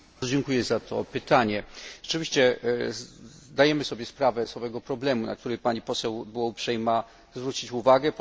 Bardzo dziękuję za to pytanie. Rzeczywiście zdajemy sobie sprawę z problemu, na który Pani Poseł była uprzejma zwrócić uwagę.